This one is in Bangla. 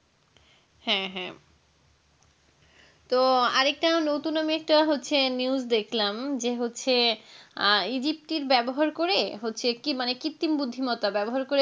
হ্যাঁ হ্যাঁ তো আরেকটা নতুন আমি হচ্ছে news দেখলাম যে হচ্ছে ইজিপ্টির ব্যবহার করে হচ্ছে কি মানে কৃত্রিম বুদ্ধিমত্তা ব্যবহার করে